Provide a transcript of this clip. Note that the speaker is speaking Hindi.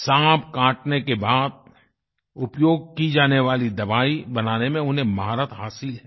सांप काटने के बाद उपयोग की जाने वाली दवाई बनाने में उन्हें महारत हासिल है